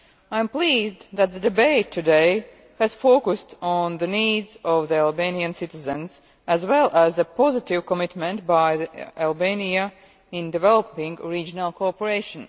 I am pleased that the debate today has focused on the needs of Albanian citizens as well as a positive commitment by Albania in developing regional cooperation.